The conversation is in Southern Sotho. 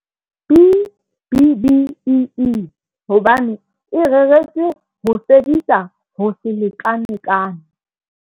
B-BBEE hobane e reretswe ho fedisa ho se lekalekane.